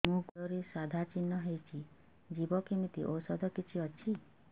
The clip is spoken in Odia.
ମୋ ଗୁଡ଼ରେ ସାଧା ଚିହ୍ନ ହେଇଚି ଯିବ କେମିତି ଔଷଧ କିଛି ଅଛି